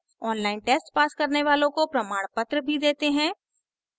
online test pass करने वालों को प्रमाणपत्र भी देते हैं